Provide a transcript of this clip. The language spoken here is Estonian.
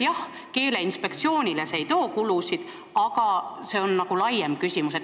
Jah, Keeleinspektsioonile ei too see kulusid kaasa, aga see on nagu laiem küsimus.